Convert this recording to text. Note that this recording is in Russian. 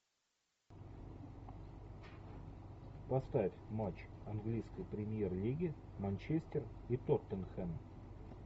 поставь матч английской премьер лиги манчестер и тоттенхэм